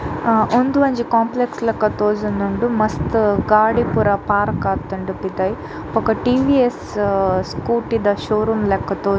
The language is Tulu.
ಅಹ್ ಒಂದು ಒಂಜಿ ಕೋಂಪ್ಲೆಕ್ಸ್ ಲಕ ತೋಜೊಂದುಂಡು ಮಸ್ತ್ ಗಾಡಿ ಪೂರ ಪಾರ್ಕ್ ಆತುಂಡ್ ಪಿದಯ್ ಬೊಕ್ಕ ಟಿ.ವಿ.ಎಸ್ಸ್ ಸ್ಕೂಟಿ ದ ಶೋರೋಮ್ ಲೆಕ ತೋಜ್ --